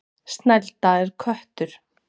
Snælda er köttur.